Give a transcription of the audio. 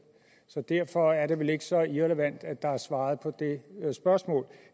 så derfor er det vel ikke så irrelevant at der er svaret på det spørgsmål